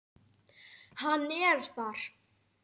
Hann er þar.